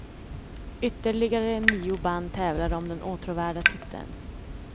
Ytterligare nio band tävlar om den åtråvärda titeln.